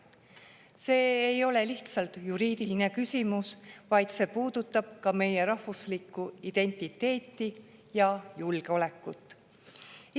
See ei ole lihtsalt juriidiline küsimus, vaid see puudutab ka meie rahvuslikku identiteeti ja julgeolekut.